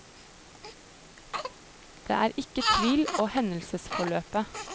Det er ikke tvil og hendelsesforløpet.